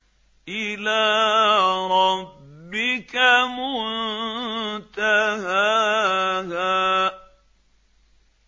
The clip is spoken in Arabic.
إِلَىٰ رَبِّكَ مُنتَهَاهَا